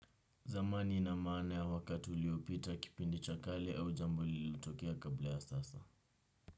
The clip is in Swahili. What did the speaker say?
Zamani ina maana ya wakati uliopita kipindi cha kale au jambo lilitokea kabla ya sasa.